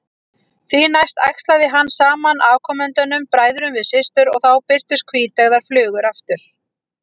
Því næst æxlaði hann saman afkomendunum, bræðrum við systur, og þá birtust hvíteygðar flugur aftur.